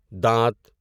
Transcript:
دانت